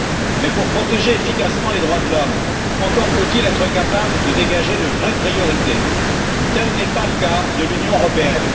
Mais pour protéger efficacement les droits de l'homme, encore faut il être capable de dégager de vraies priorités, ce qui n'est pas le cas de l'Union européenne.